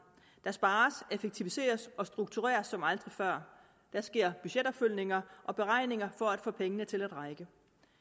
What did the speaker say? der spares effektiviseres og struktureres som aldrig før der sker budgetopfølgninger og beregninger for at få pengene til at række